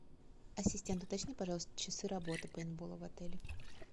ассистент уточни пожалуйста часы работы пейнтбола в отеле